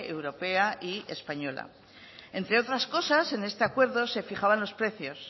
europea y española entre otras cosas en este acuerdo se fijaba los precios